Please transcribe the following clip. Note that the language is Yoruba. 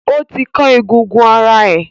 O ti kan egungun ara ẹ!